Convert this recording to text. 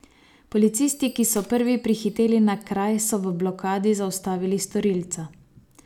Policisti, ki so prvi prihiteli na kraj, so v blokadi zaustavili storilca.